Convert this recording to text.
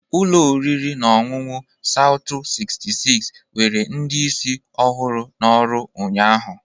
Ụlọ oriri na ọṅụṅụ Soutu 66 nwere ndị isi ọhụrụ n'ọrụ ụnyahụ.